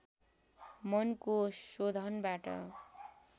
मनको शोधनबाट